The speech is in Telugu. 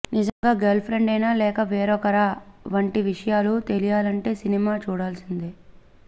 నిజంగా గర్ల్ ప్రెండేనా లేక వేరొకరా వంటి విషయాలు తెలియాలంటే సినిమా చూడాల్సిందే